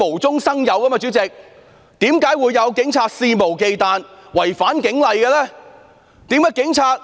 主席，為何警察肆無忌憚違反警例？